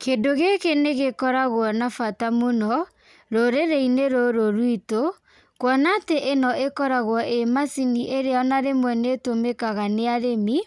Kĩndũ gĩkĩ nigĩkoragwo na bata mũno rũrĩrĩ-inĩ rũrũ rwitũ, kuona atĩ rĩmwe nĩ macini iria ona rĩmwe nĩ itũmĩkaga na arĩmi,